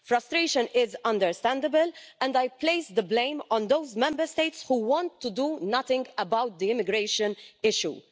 Frustration is understandable, and I place the blame on those Member States who want to do nothing about the immigration issue.